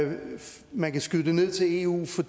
man kan skyde det ned til eu for